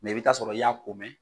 i bɛ taa sɔrɔ i y'a komɛn.